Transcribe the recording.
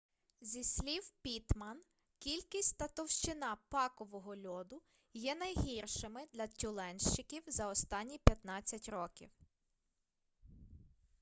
зі слів піттман кількість та товщина пакового льоду є найгіршими для тюленщиків за останні 15 років